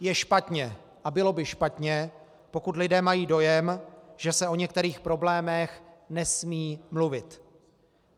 Je špatně a bylo by špatně, pokud lidé mají dojem, že se o některých problémech nesmí mluvit.